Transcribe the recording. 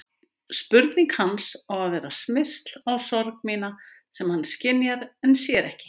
Spurning hans á að vera smyrsl á sorg mína sem hann skynjar en sér ekki.